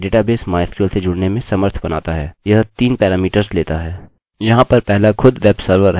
यहाँ पर पहला खुद वेब सर्वर हैवेब सर्वर का अड्रेस